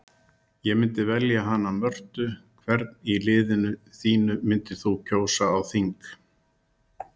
Ég myndi velja hana Mörtu Hvern í liðinu þínu myndir þú kjósa á þing?